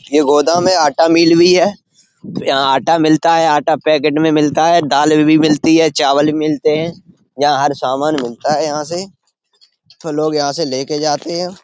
ये गोदाम है। आटा मील भी है। यहाँ आटा मिलता है। आटा पैकेट में मिलता है। दाले भी मिलती हैं। चावल भी मिलते हैं। यहाँ हर सामान मिलता है यहाँ से। तो लोग यहाँ से ले के जाते हैं।